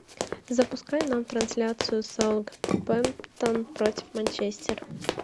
запускай нам трансляцию саутгемптон против манчестер